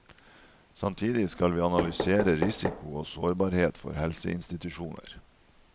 Samtidig skal vi analysere risiko og sårbarhet for helseinstitusjoner.